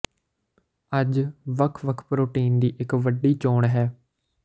ਅੱਜ ਵੱਖ ਵੱਖ ਪ੍ਰੋਟੀਨ ਦੀ ਇਕ ਵੱਡੀ ਚੋਣ ਹੈ